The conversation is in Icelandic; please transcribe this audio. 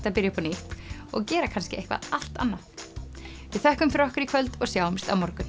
að byrja upp á nýtt og gera kannski eitthvað allt annað við þökkum fyrir okkur í kvöld og sjáumst á morgun